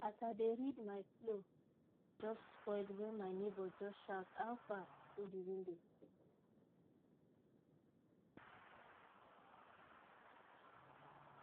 as i dey read my flow just spoil when my neighbor just shout how far through the window